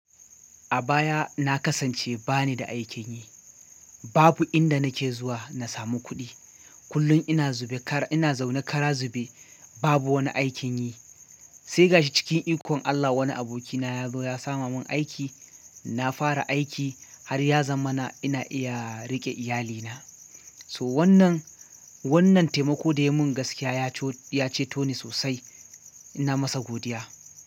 A baya na kasance bani da aikin yi. Babu inda nake zuwa na samu kuɗi. Kullum ina zube, ƙara ina zaune ƙara zube. Babu wani aikin yi. Sai ga shi cikin ikon Allah wani abokina ya zo ya sama mun aiki. Na fara aiki har ya zamana ina iya riƙe iyalina. So wannan, wannan taimako da ya mun gaskiya ya ceto ni sosai. Ina masa godiya.